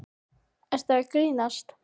Ertu að grínast?!